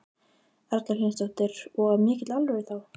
Erla Hlynsdóttir: Og af mikilli alvöru þá?